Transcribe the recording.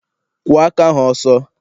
Kwọọ aka ahụ ọsọ!